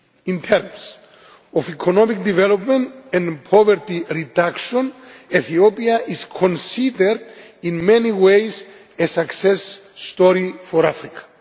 In terms of economic development and poverty reduction, Ethiopia is considered in many ways a success story for Africa.